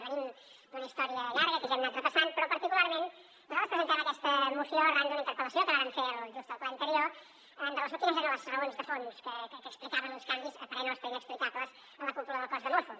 venim d’una història llarga que ja hem anat repassant però particularment nosaltres presentem aquesta moció arran d’una interpel·lació que vàrem fer just el ple anterior en relació amb quines eren les raons de fons que explicaven uns canvis a parer nostre inexplicables a la cúpula del cos de mossos